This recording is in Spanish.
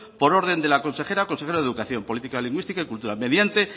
por orden de la consejera consejero de educación política lingüística y cultura mediante